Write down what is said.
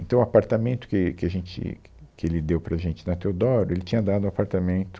Então, o apartamento que que a gente, que, que ele deu para a gente na Teodoro, ele tinha dado um apartamento